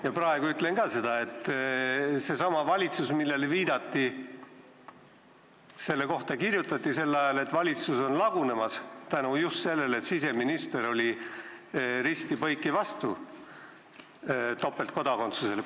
Ja praegu ütlen seda, et sellesama viidatud valitsuse kohta kirjutati sel ajal, et valitsus on lagunemas just seetõttu, et siseminister oli risti-põiki vastu topeltkodakondsusele.